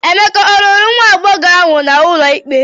Emeka ọ lụrụ nwa agbọghọ ahụ n'ụlọ ikpe?